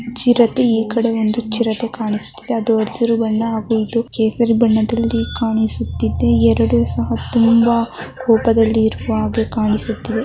ಚಿರತೆ ಈ ಕಡೇ ಒಂಧು ಚಿರತೆ ಕಾಣಿಸುತ್ತಿದೆ ಅದು ಹಸಿರು ಬಣ್ಣ ಇದು ಕೇಸರಿ ಬಣ್ಣದಲ್ಲಿ ಕಾಣಿಸುತ್ತಿದೆ ಎರಡು ಸಹ ತುಂಬಾ ಕೋಪದಲ್ಲಿ ಇರುವ ಹಾಗೆ ಕಾಣಿಸುತ್ತಿದೆ .